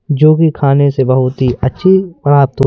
जो भी खाने से बहुत ही अच्छी